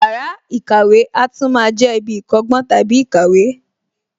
Yàrá ìkàwé a tún máa jẹ ibi ìkọ́gbọ́n / ìkàwé